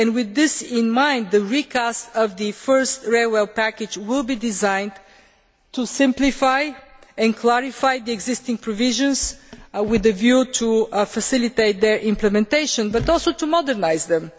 With this in mind, the recast of the first railway package will be designed to simplify and clarify the existing provisions with a view to facilitating their implementation, but also to modernise them.